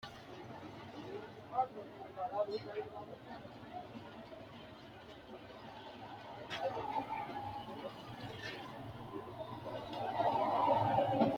Hattono malaatu afii rosinino aleenni kullire agarranni Hattono malaatu afii rosinino aleenni kullire agarranni Hattono malaatu afii rosinino aleenni kullire.